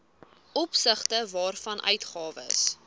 opsigte waarvan uitgawes